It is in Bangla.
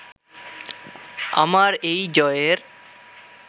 আমার এই জয়ের